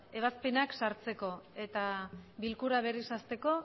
ebazpenak sartzeko eta bilkura berriz hasteko